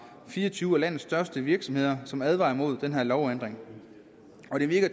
fire og tyve af landets største virksomheder som advarer imod den her lovændring